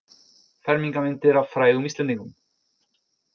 Fermingarmyndir af frægum Íslendingum